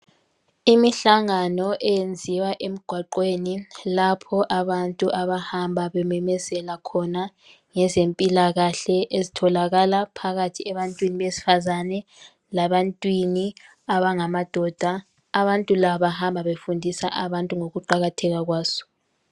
Imihlangano enziwa emgwaqweni lapho abantu abahamba bememezela khona ngezempilakahle ezitholaka phakathi ebantwini besifazana lebantwini abangamadoda abantu laba bahamba befundisa ngokuqakatheka kwazo.